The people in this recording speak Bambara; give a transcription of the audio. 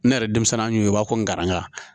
Ne yɛrɛ denmisɛn y'u ye u b'a fɔ ko nkaranaya